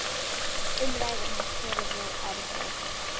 Um ræður hans tölum við aldrei.